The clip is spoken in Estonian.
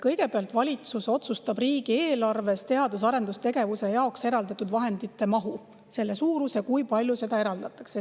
Kõigepealt otsustab valitsus riigieelarves teadus‑ ja arendustegevuse jaoks eraldatud vahendite mahu, selle suuruse, mis eraldatakse.